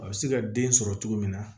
A bɛ se ka den sɔrɔ cogo min na